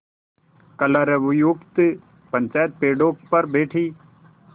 कलरवयुक्त पंचायत पेड़ों पर बैठी